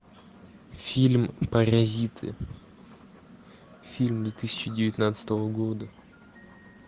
фильм паразиты фильм две тысячи девятнадцатого года